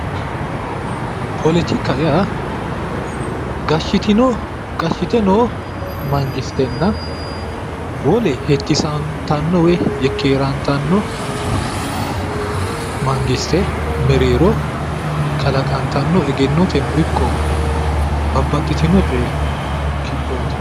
poletikaho yaa gashshite noo mangistenna hettisantanno woyi yekkeerantanno mangiste mereero kalaqantano egennoteno ikko babbaxitino coyi kiphooti.